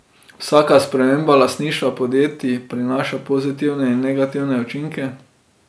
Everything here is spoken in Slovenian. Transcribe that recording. Vsaka sprememba lastništva podjetij prinaša pozitivne in negativne učinke.